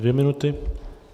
Dvě minuty.